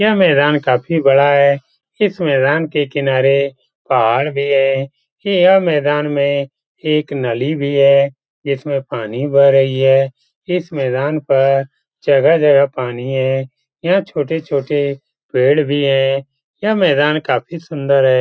यह मैदान काफी बड़ा है। इस मैदान के किनारे पहाड़ भी हैं। यह मैदान में एक नली भी है जिसमें पानी बह रही है। इस मैदान पर जगह-जगह पानी है। यहाँ छोटे-छोटे पेड़ भी हैं। यह मैदान काफी सुन्दर है।